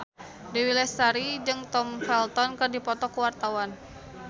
Dewi Lestari jeung Tom Felton keur dipoto ku wartawan